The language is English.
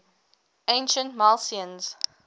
ancient milesians